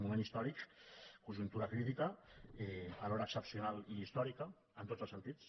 moment històric conjuntura crítica alhora excepcional i històrica en tots els sentits